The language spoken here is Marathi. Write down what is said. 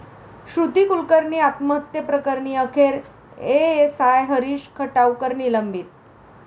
श्रुती कुलकर्णी आत्महत्येप्रकरणी अखेर एएसआय हरीष खटावकर निलंबित